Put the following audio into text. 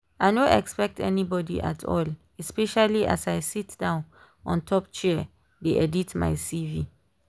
i no expect anybody at all especially as i sit down on top chair dey edit my cv